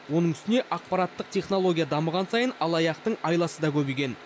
оның үстіне ақпараттық технология дамыған сайын алаяқтың айласы да көбейген